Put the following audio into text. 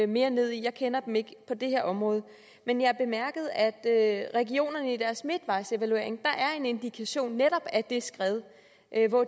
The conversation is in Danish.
mere ned i jeg kender dem ikke på det her område men jeg bemærkede at regionerne i deres midtvejsevaluering har en indikation netop af det skred